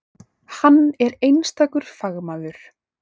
Hann er einstakur fagmaður.